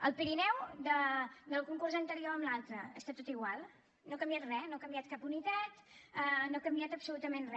al pirineu del concurs anterior a l’altre està tot igual no ha canviat re no ha canviat cap unitat no ha canviat absolutament re